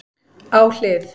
Á hlið